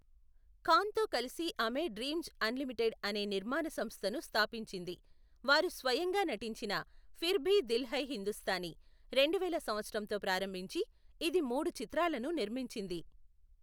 ఖాన్తో కలిసి ఆమె Dreamz Unlimited అనే నిర్మాణ సంస్థను స్థాపించింది, వారు స్వయంగా నటించిన ఫిర్ భీ దిల్ హై హిందుస్తానీ, రెండువేల సంవత్సరంతో ప్రారంభించి, ఇది మూడు చిత్రాలను నిర్మించింది.